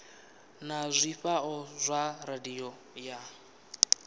na zwifhao zwa radio ya